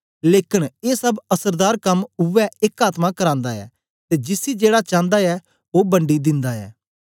लेकन ए सब असरदार कम उवै एक आत्मा करांदा ऐ ते जिसी जेड़ा चांदा ऐ ओ बंडी दिन्दा ऐ